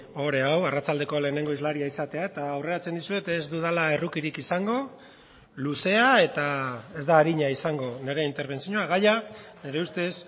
ohore hau arratsaldeko lehenengo hizlaria izatea eta aurreratzen dizuet ez dudala errukirik izango luzea eta ez da arina izango nire interbentzioa gaia nire ustez